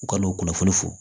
U ka n'o kunnafoni fɔ